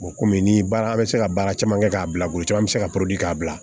komi ni baara an bɛ se ka baara caman kɛ k'a bila bolo caman bɛ se ka probiri k'a bila